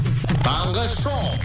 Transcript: таңғы шоу